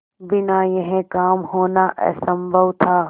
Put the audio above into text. बिना यह काम होना असम्भव था